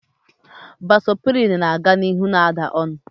Vasoprin na-aga n'ihu na-agala onu